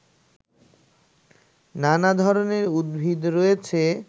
নানা ধরনের উদ্ভিদ রয়েছে